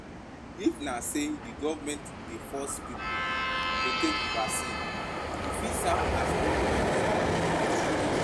If na sey di government dey force pipo to take vaccine, e fit serve as hindrance to pipo